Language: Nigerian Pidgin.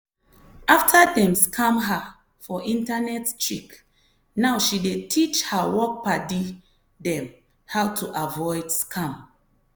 after dem scam her for internet trick now she dey teach her work padi dem how to avoid scam.